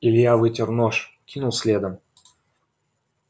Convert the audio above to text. илья вытер нож кинул следом